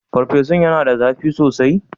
Farfesun yana da zafi sosai?